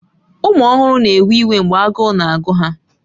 Ụmụ ọhụrụ na-ewe iwe mgbe agụụ na-agụ ha